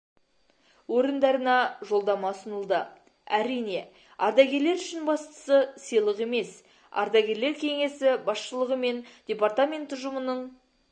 орындарына жолдама ұсынылды әрине ардагерлер үшін бастысы сыйлық емес ардагерлер кеңесі басшылығы мен департамент ұжымының